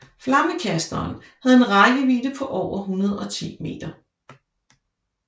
Flammekasteren havde en rækkevidde på over 110 meter